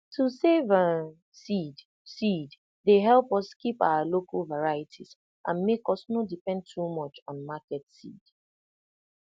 to dey save um seed seed dey help us keep our local varieties and make us no depend too much on market seed